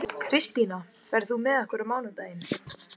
Kristína, ferð þú með okkur á mánudaginn?